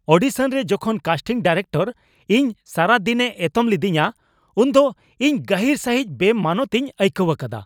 ᱚᱰᱤᱥᱚᱱᱨᱮ ᱡᱚᱠᱷᱚᱱ casting director ᱤᱧ ᱥᱟᱨᱟ ᱫᱤᱱᱮ ᱮᱛᱚᱢ ᱞᱤᱫᱤᱧᱟ ᱩᱱᱫᱚ ᱤᱧ ᱜᱟᱹᱦᱤᱨ ᱥᱟᱹᱦᱤᱡ ᱵᱮᱼᱢᱟᱱᱚᱛ ᱤᱧ ᱟᱹᱭᱠᱟᱹᱣ ᱟᱠᱟᱫᱟ ᱾